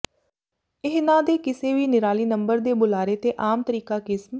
ਇਹਨਆ ਦੇ ਕਿਸੇ ਵੀ ਨਿਰਾਲੀ ਨੰਬਰ ਦੇ ਬੁਲਾਰੇ ਤੇ ਆਮ ਤਰੀਕਾ ਕਿਸਮ